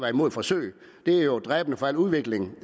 imod et forsøg det er jo dræbende for al udvikling